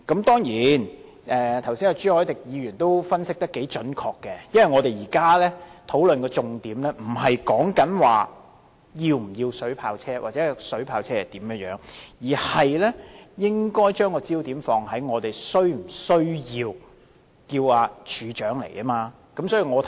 當然朱凱廸議員剛才也分析得頗準確，因為我們現在討論的重點，不是是否要購買水炮車或水炮車的性能、影響等，而是應否傳召處長出席立法會會議。